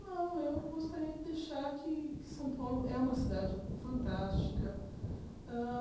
Não, eu gostaria de deixar que que São Paulo é uma cidade fantástica. Hã